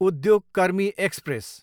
उद्योग कर्मी एक्सप्रेस